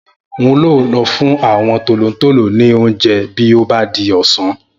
N óò lọ fún àwọn tòlótòló ní oúnjẹ bí ó bá di ọ̀sán